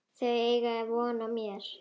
Þau eiga von á mér.